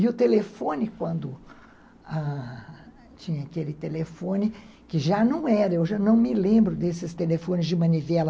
E o telefone, quando tinha aquele telefone, que já não era, eu já não me lembro desses telefones de manivela.